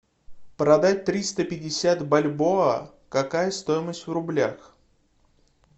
продать триста пятьдесят бальбоа какая стоимость в рублях